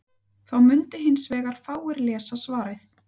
Þá mundu hins vegar fáir lesa svarið.